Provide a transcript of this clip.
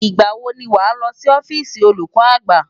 Ìgbà wo ni wàá lọ sí ọ́fíìsì olùkọ́ àgbà?